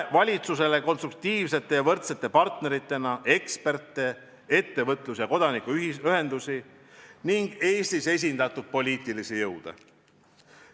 Valitsus näeb konstruktiivsete ja võrdsete partneritena eksperte, ettevõtlus- ja kodanikuühendusi ning Eestis esindatud poliitilisi jõude.